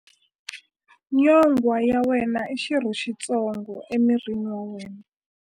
Nyonghwa ya wena i xirho xitsongo emirini wa wena.